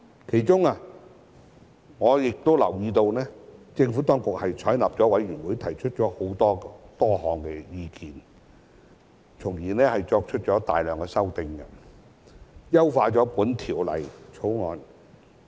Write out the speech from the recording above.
其中我留意到政府當局採納了委員會提出的多項意見，繼而提出了大量修正案，優化了《條例草案》。